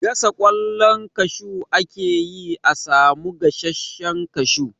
Gasa ƙwallon kashu ake yi a samu gasashen kashu.